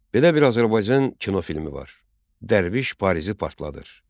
Belə bir Azərbaycan kinofilmi var: "Dərviş Parisi partladır".